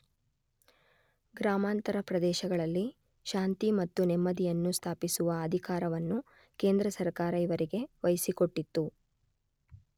ಗ್ರಾಮಾಂತರ ಪ್ರದೇಶಗಳಲ್ಲಿ ಶಾಂತಿ ಮತ್ತು ನೆಮ್ಮದಿಯನ್ನು ಸ್ಥಾಪಿಸುವ ಅಧಿಕಾರವನ್ನು ಕೇಂದ್ರ ಸರ್ಕಾರ ಇವರಿಗೆ ವಹಿಸಿಕೊಟ್ಟಿತ್ತು.